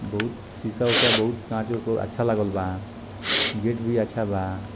बहुत शीशा उसा बहुत कांच ऊंच के अच्छा लागल बा गेट भी अच्छा बा।